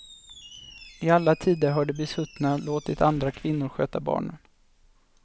I alla tider har de besuttna låtit andra kvinnor sköta barnen.